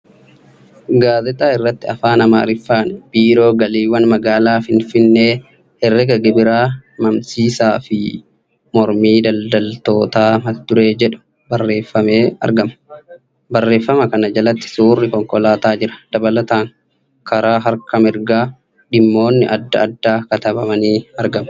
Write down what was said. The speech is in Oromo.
Gaazexaa irratti Afaan Amaariffaan ' Biiroo Galiiwwan Magaalaa Finfinnee Herreega Gibiraa mamsiisaa fi mormii daldaltootaa ' mata dureen jedhu barreeffamee argama. Barreeffama kana jala suurri konkolaataa jira. Dabalataan, karaa harka mirgaan dhimmoonni adda addaa katabamanii argamu.